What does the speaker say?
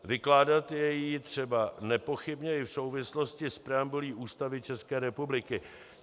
Vykládat je ji třeba nepochybně i v souvislosti s preambulí Ústavy České republiky.